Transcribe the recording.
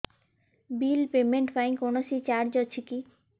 bill payment ପାଇଁ କୌଣସି charge ଅଛି କି